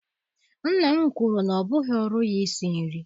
Nna m kwuru na ọ bụghị ọrụ ya isi nri.